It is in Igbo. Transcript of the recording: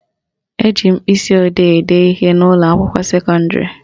Eji mkpịsịodee ede ihe n'ụlọakwụkwọ sekọndịrị